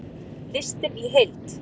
Listinn í heild